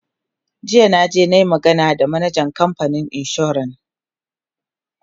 jiya na je nayi magana da manajan kamfanin insuran